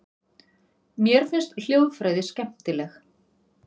Mér finnst hljóðfræði skemmtileg.